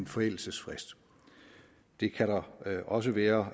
forældelsesfrist det kan der også være